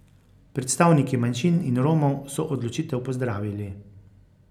Predstavniki manjšin in Romov so odločitev pozdravili.